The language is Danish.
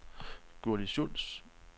Gurli Schulz